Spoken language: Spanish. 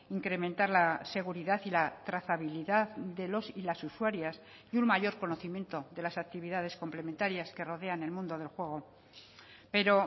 incrementar la seguridad y la trazabilidad de los y las usuarias y un mayor conocimiento de las actividades complementarias que rodean el mundo del juego pero